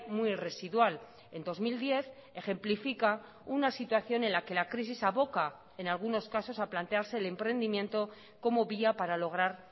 muy residual en dos mil diez ejemplifica una situación en la que la crisis aboca en algunos casos a plantearse el emprendimiento como vía para lograr